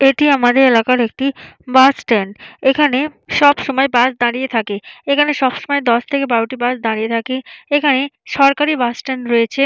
এটি আমাদের এলাকার একটি বাস স্ট্যান্ড এখানে সব সময় বাস দাঁড়িয়ে থাকে এখানে সব সময় দশ থেকে বারো টি বাস দাঁড়িয়ে থাকে এখানে সরকারি বাস স্ট্যান্ড রয়েছে।